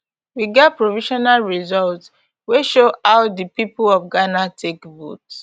we get provisional results wey show how di pipo of ghana take vote